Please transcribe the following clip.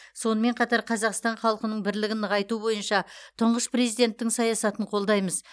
сонымен қатар қазақстан халқының бірлігін нығайту бойынша тұңғыш президенттің саясатын қолдаймыз